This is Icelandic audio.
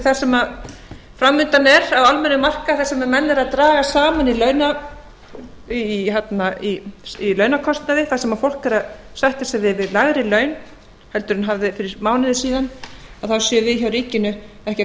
við það sem framundan er á almennum markaði þar sem menn eru draga saman í launakostnaði þar sem fólk er að sætta sig við lægri laun heldur en það hafði fyrir mánuði síðan að þá séum við hjá ríkinu ekki að